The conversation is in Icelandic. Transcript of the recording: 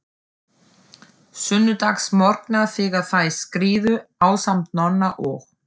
Sunnudagsmorgnar þegar þær skriðu, ásamt Nonna og